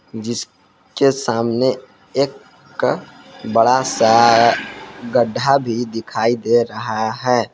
जिसके सामने एक का बड़ा सा गड्ढा भी दिखाई दे रहा है।